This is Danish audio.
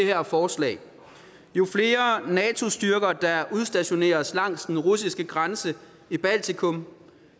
her forslag jo flere nato styrker der udstationeres langs den russiske grænse i baltikum